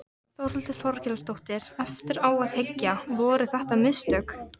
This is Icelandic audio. Þórhildur Þorkelsdóttir: Eftir á að hyggja, voru þetta mistök?